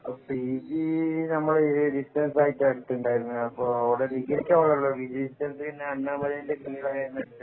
P G നമ്മൾ distance ആയിട്ടാണ് എടുക്കുണ്ടായിരുന്നത് ഡിഗ്രി ക്ക് അവിടെയായിരുന്നു പി ജി ക്ക് ഞാന്‍ അണ്ണാമലൈ ന്‍റെ എടുത്തെണ്ടായിരുന്നെ